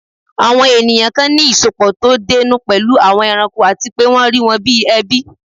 Àwọn èèyàn kan ní ìsọpọ̀ tó dénú pẹ̀lú àwọn ẹranko àti pé wọ́n rí wọn bíi ẹbí